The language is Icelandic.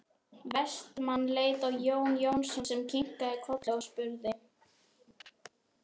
Vestmann leit á Jón Jónsson sem kinkaði kolli og spurði